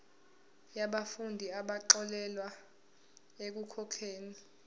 yabafundi abaxolelwa ekukhokheni